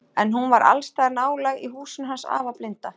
En hún var alls staðar nálæg í húsinu hans afa blinda.